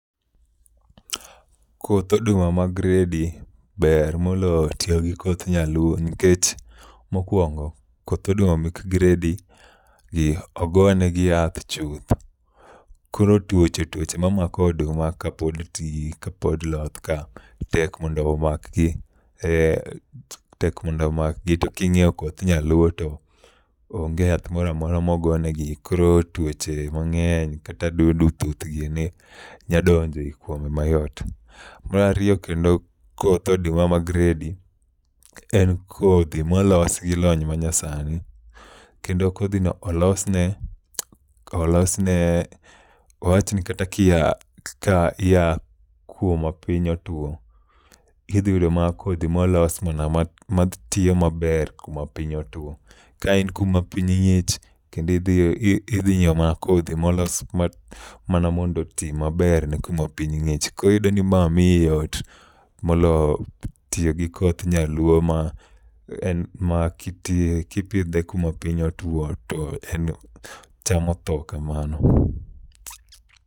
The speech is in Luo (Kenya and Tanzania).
Koth oduma mag gredi ber moloyo tiyo gi koth nyaluo nikech mokwongo, koth oduma mek gredi gi ogone gi yath chuth. Koro tuoche tuoche ma mako oduma ka pod tii loth ka tek mondo omakgi, eh telk mondo omakgi. To king'iyo koth nyaluo to onge yath moramora mogo negi, koro tuoche mang'eny kata dudu, thuth gini nyadonje mayot. Marariyo kendo, koth oduma ma gredi en kodhi molos gi lony manyasani. Kendo kodhino olosne, olosne wawach ni kata kia, ka ia kuma piny otuo, idhi yudo ma kodhi molos mana ma tiyo maber kuma piny otuo. Ka in kuma piny ng'ich kendi idhi, idhi nyiewo mana kodhi molos ma mana mondo oti maber ne kuma piny ng'ich. Koriyudo ni ma miyi yot molo tiyo gi koth nyaluo ma en ma kiti kipidhe kuma piny otuo to en cham otho kamano.